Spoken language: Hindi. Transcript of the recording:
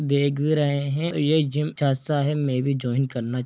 देख भी रहे है और ये जिम सस्ता है में भी जॉइन करना--